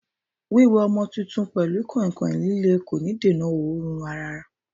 Wiwe ọmọ tuntun pelu kọ̀ìnkọ̀ìn líle kò ní dènà òórùn ara.